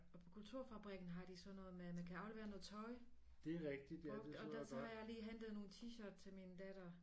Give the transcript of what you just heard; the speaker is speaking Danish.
På Kulturfabrikken har de sådan noget med at man kan aflevere noget tøj brugt og der så har jeg lige hentet nogle T-shirt til min datter